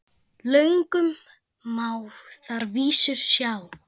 Löngum má þar vísur sjá.